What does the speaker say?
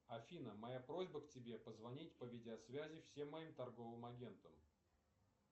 афина моя просьба к тебе позвонить по видеосвязи всем моим торговым агентам